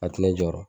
A ti ne jɔyɔrɔ